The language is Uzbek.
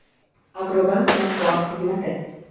“Agrobank” matbuot xizmati.